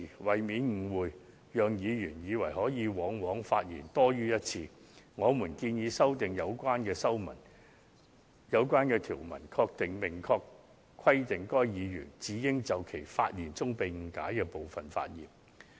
為免議員誤會可以發言多於一次，我們建議修訂有關條文，明確規定議員只應就其發言中被誤解的部分發言。